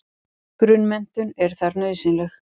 Grunnmenntun er þar nauðsynleg.